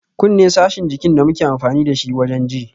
Kunne sashin jikin da muke amfani dashi wajen ji